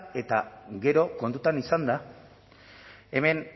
eta gero kontutan izanda hemen